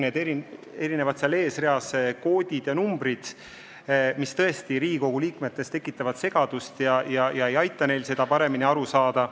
Need tabelite esimestes tulpades olevad koodid ja numbrid tõesti tekitavad Riigikogu liikmetes segadust ega aita neil kõigest paremini aru saada.